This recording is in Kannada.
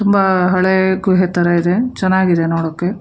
ತುಂಬಾ ಹಳೆಯ ಗುಹೆ ತರ ಇದೆ ಚೆನ್ನಾಗಿದೆ ನೋಡಕ್ಕೆ.